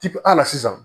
Tip ala sisan